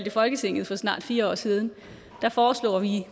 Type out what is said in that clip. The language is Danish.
i folketinget for snart fire år siden foreslog vi